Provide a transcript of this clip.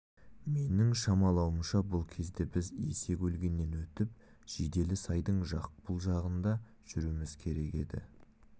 менің шамалауымша бұл кезде біз есек өлгеннен өтіп жиделі сайдың жақ бұл жағында жүруіміз керек еді